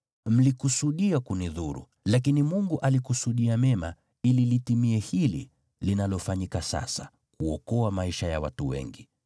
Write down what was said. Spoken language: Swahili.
Mlikusudia kunidhuru, lakini Mungu alikusudia mema, ili litimie hili linalofanyika sasa, kuokoa maisha ya watu wengi.